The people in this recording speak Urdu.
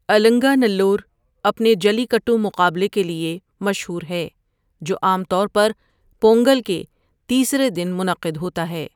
النگنالور اپنے جلی کٹو مقابلے کے لیے مشہور ہے جو عام طور پر پونگل کے تیسرے دن منعقد ہوتا ہے۔